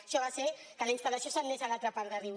això va fer que la instal·lació se n’anés a l’altra part de riu